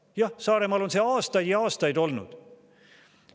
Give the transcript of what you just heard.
Jah, Saaremaal on see aastaid ja aastaid olnud.